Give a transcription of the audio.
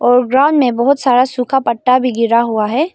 और ग्राउंड में बहुत सारा सूखा पत्ता भी गिरा हुआ है।